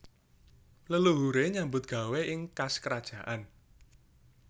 Leluhure nyambut gawé ing kas kerajaan